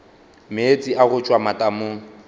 meetse a go tšwa matamong